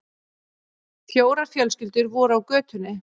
Fjórar fjölskyldur voru á götunni.